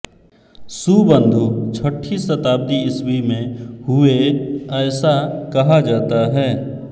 सुबन्धु छठी शताब्दी ईस्वी में हुए ऐसा कहा जाता है